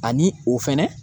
Ani o fɛnɛ